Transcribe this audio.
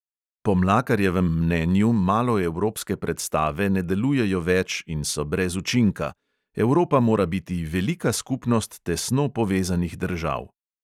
Po mlakarjevem mnenju maloevropske predstave ne delujejo več in so brez učinka: evropa mora biti velika skupnost tesno povezanih držav.